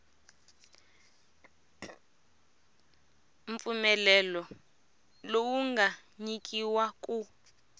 mpfumelelo lowu nga nyikiwa ku